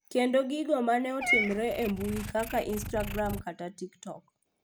Kendo gigo mane otimore e mbui kaka instagram kata tiktok